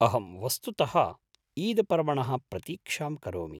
अहं वस्तुतः ईदपर्वणः प्रतीक्षां करोमि।